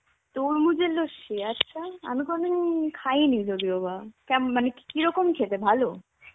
তরমুজের লস্যি? আচ্ছা. আমি কোনদিন খাইনি যদিওবা. কেমন মানে কিরকম খেতে ভালো?